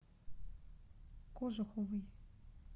кожуховой